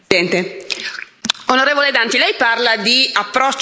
Onorevole Danti, lei parla di approccio europeo.